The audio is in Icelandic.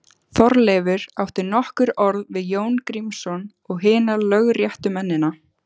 Þorleifur átti nokkur orð við Jón Grímsson og hina lögréttumennina.